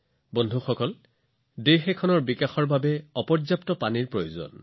বন্ধুসকল পানীৰ উপলব্ধতা আৰু পানীৰ অভাৱ এইবোৰে যিকোনো দেশৰ প্ৰগতি আৰু গতি নিৰ্ধাৰণ কৰে